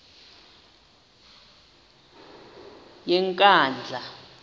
yenkandla